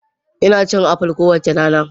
Ina cin apples kowace rana.